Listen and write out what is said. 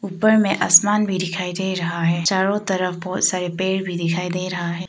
ऊपर मे आसमान भी दिखाई दे रहा है चारों तरफ बहोत सारे पेड़ भी दिखाई दे रहा है।